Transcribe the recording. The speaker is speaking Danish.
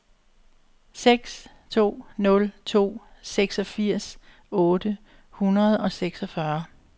seks to nul to seksogfirs otte hundrede og seksogfyrre